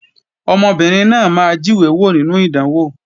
Ọmọbìnrin náà máa jíwé wò nínú ìdánwò